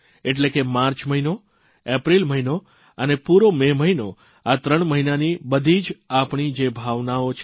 એટલે કે માર્ચ મહીનો એપ્રિલ મહિનો અને પૂરો મે મહિનો આ ત્રણ મહિનાની બધી જ આપણી જે ભાવનાઓ છે